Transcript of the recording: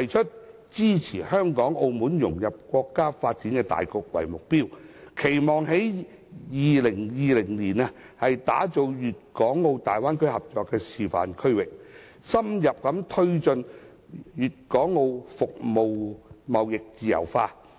提出支持香港和澳門融入國家發展大局的目標，期望在2020年打造出大灣區合作的示範區域，深入推進粵港澳服務貿易自由化。